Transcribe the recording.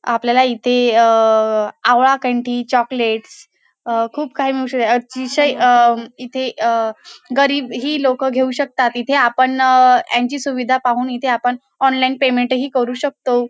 आपल्याला इथे अ आवळा कंठी चॉकलेट्स अ खूप काही मिळू अ अतिशय इथे अ गरीब ही लोकं घेऊ शकतात इथे आपण यांची सुविधा पाहून इथे आपण ऑनलाइन पेमेंट ही करू शकतो.